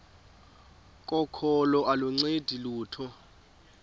kokholo aluncedi lutho